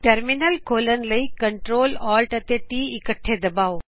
terminal ਖੋਲਣ ਲਈ ctrlaltt ਇਕੱਠੇ ਦਬਾਓ